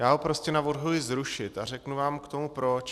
Já ho prostě navrhuji zrušit a řeknu vám k tomu proč.